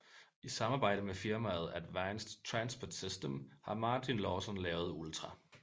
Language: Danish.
I samarbejde med firmaet Advancet Transport System har Martin Lowson lavet Ultra